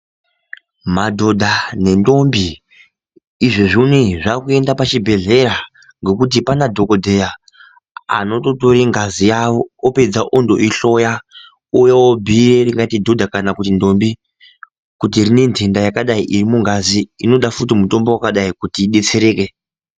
Madhodha nendombi izvo zvonei zvakuenda pachibhedhleya ngekuti pana dhokodheya anototore ngazi yawo apedza ondoihloya ouya obhiire ringaite dhodha kana ndombi kuti rine ntenda yakadai iri mungazi inoda futi mutombo wakadai kuti idetsereke.